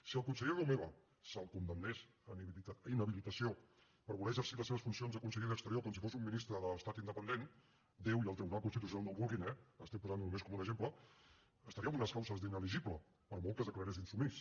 si al conseller romeva se’l condemnés a inhabilitació per voler exercir les seves funcions de conseller d’exteriors com si fos un ministre d’estat independent déu i el tribunal constitucional no ho vulguin eh estic posant ho només com un exemple estaria en unes causes d’inelegible per molt que es declarés insubmís